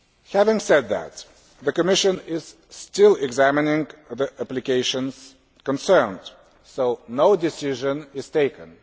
Having said that, the Commission is still examining the applications concerned, so no decision has been taken.